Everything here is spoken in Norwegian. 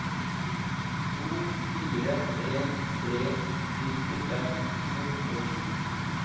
to fire en tre nittifem to hundre og sju